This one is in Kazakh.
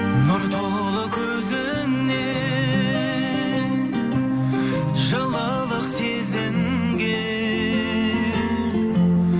нұр толы көзіңнен жылылық сезінген